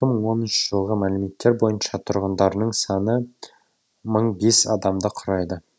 екі мың оныншы жылғы мәліметтер бойынша тұрғындарының саны мың бес адамды құрайды